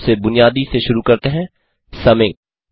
हम सबसे बुनियादी से शुरू करते हैं समिंग